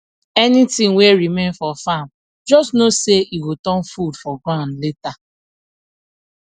anything wey remain for farm just know say e go turn food for ground later